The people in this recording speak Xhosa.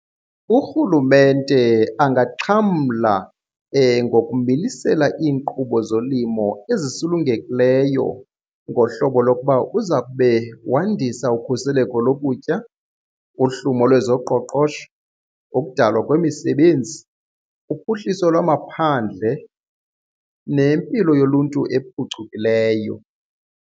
Urhulumente angaxhamla ngokumilisela iinkqubo zolimo ezisulungekileyo ngohlobo lokuba uzakube wandisa ukhuseleko lokutya, uhlumo lwezoqoqosho, ukudalwa kwemisebenzi, uphuhliso lwamaphandle nempilo yoluntu ephucukileyo.